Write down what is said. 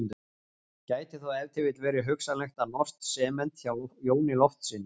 Gæti þó ef til vill verið hugsanlegt að fá norskt sement hjá Jóni Loftssyni.